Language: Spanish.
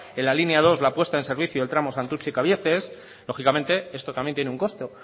en la línea dos la puesta en servicio del tramo santurtzi kabiezes lógicamente esto también tiene un costo